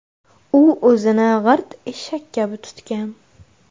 U o‘zini g‘irt eshak kabi tutgan.